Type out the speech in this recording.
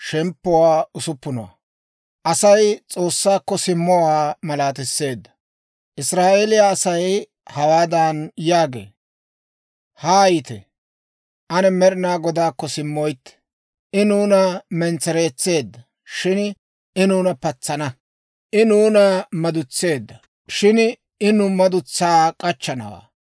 Israa'eeliyaa Asay hawaadan yaagee; «Haayite! Ane Med'inaa Godaakko simmoytte. I nuuna mentsereetseedda, shin I nuuna patsana; I nuuna madutseedda, shin I nu madutsaa k'achchanawaa.